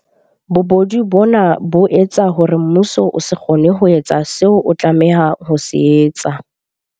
Bobodu bona bo etsa hore mmuso o se kgone ho etsa seo o tlameha ho se etsa.